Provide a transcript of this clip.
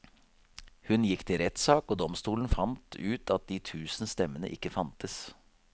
Hun gikk til rettssak, og domstolen fant ut at de tusen stemmene ikke fantes.